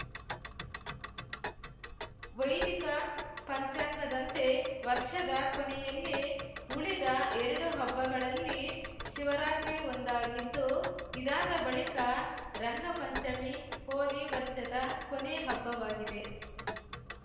ವೈದಿಕ ಪಂಚಾಂಗದಂತೆ ವರ್ಷದ ಕೊನೆಯಲ್ಲಿ ಉಳಿದ ಎರಡು ಹಬ್ಬಗಳಲ್ಲಿ ಶಿವರಾತ್ರಿ ಒಂದಾಗಿದ್ದು ಇದಾದ ಬಳಿಕ ರಂಗಪಂಚಮಿ ಹೋಲಿ ವರ್ಷದ ಕೊನೆಯ ಹಬ್ಬವಾಗಿದೆ